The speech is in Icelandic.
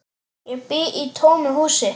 Ég bý í tómu húsi.